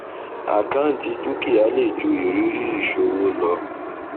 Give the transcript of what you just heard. àkáǹtì dúkìá lè ju ìrírí ìṣòwò lọ